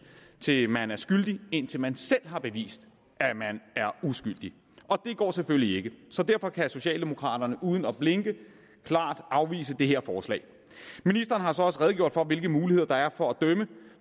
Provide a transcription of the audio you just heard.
til at man er skyldig indtil man selv har bevist at man er uskyldig det går selvfølgelig ikke så derfor kan socialdemokraterne uden at blinke klart afvise det her forslag ministeren har så også redegjort for hvilke muligheder der er for at dømme